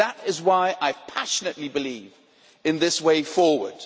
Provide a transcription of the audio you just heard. That is why I passionately believe in this way forward.